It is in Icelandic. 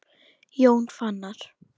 Jón Fannar.